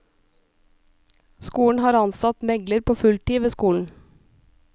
Skolen har ansatt megler på full tid ved skolen.